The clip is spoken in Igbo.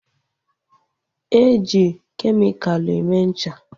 E ji kemikalụ eme ncha